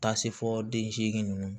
Taa se fɔ den seegin ninnu